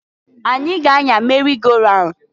Anyi ga-anya merị go raun.